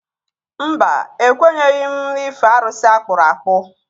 Mba, ekwenyeghị m n'ife arụsị akpụrụ akpụ